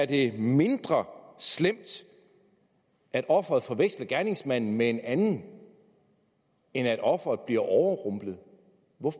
det er mindre slemt at offeret forveksler gerningsmanden med en anden end at offeret bliver overrumplet